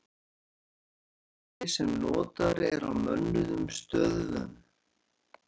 Úrkomumælir sem notaður er á mönnuðum stöðvum.